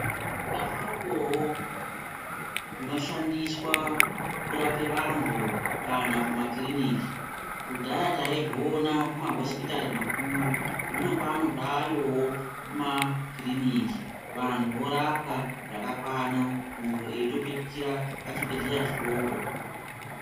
Zvaayowo zvinoshandiswa kurape vanhu kana kumakiriniki, kudhaya taizviona kuma hosipitari makuru zvinopano zvaayowo kumakiriniki vanhu vorapwa zvakakwana munhu eitopetukira pachibhedhleya chidoko.